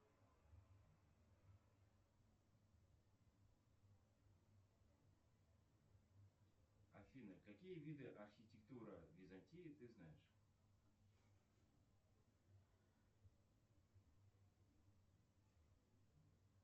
афина какие виды архитектуры византии ты знаешь